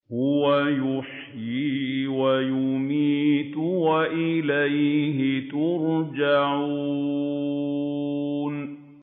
هُوَ يُحْيِي وَيُمِيتُ وَإِلَيْهِ تُرْجَعُونَ